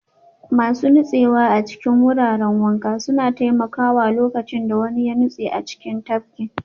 Masu nutsewa a cikin wuraren wanka suna taimakawa lokacin da wani ya nutse a cikin tafkin